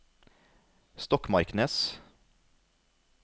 Stokmarknes